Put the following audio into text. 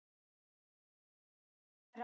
Það líkaði Einari alltaf.